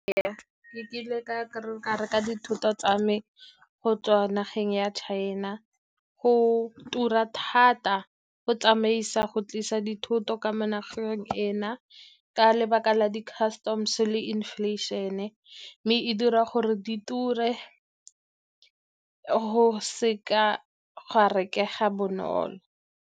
Ee, ke kile ka reka dithoto tsa me go tswa nageng ya China, go tura thata go tlisa dithoto ka mo nageng ena ka lebaka la di-customs le inflation-e, mme e dira gore di ture go seka ga rekega bonolo.